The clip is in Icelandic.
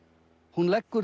hún leggur